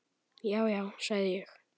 Já, já, sagði ég.